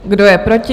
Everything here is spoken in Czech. Kdo je proti?